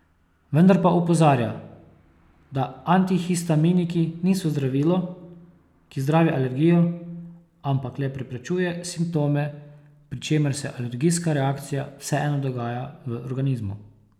Vendar pa opozarja, da antihistaminiki niso zdravilo, ki zdravi alergijo, ampak le preprečuje simptome, pri čemer se alergijska reakcija vseeno dogaja v organizmu.